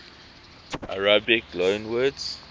arabic loanwords